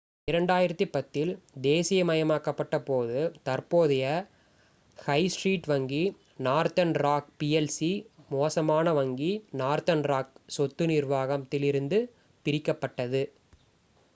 2010 இல் தேசீயமயமாக்கப்பட்ட போது தற்போதைய ஹை ஸ்ட்ரீட் வங்கி northern rock plc 'மோசமான வங்கி’ northern rock சொத்து நிர்வாகம் இலிருந்து பிரிக்கப்பட்டது